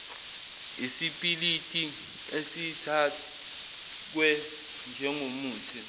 isipiliti esithakwe njengomuthi